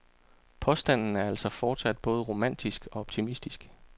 Påstanden er altså fortsat både romantisk og optimistisk.